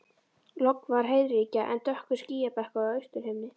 Logn var og heiðríkja en dökkur skýjabakki á austurhimni.